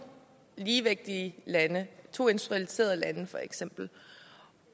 ligevægtige lande to industrialiserede lande for eksempel